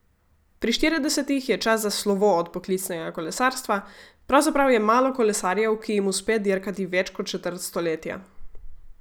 Pri štiridesetih je čas za slovo od poklicnega kolesarstva, pravzaprav je malo kolesarjev, ki jim uspe dirkati več kot četrt stoletja.